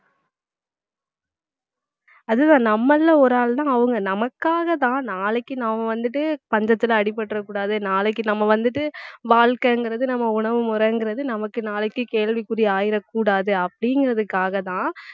அதுதான் நம்மள்ல ஒரு ஆள் தான் அவங்க நமக்காகதான் நாளைக்கு நாம வந்துட்டு பஞ்சத்துல அடிபட்டுறக்கூடாது நாளைக்கு நம்ம வந்துட்டு வாழ்க்கைங்கிறது நம்ம உணவு முறைங்கிறது நமக்கு நாளைக்கு கேள்விக்குறி ஆயிடக்கூடாது அப்படிங்கிறதுக்காகதான்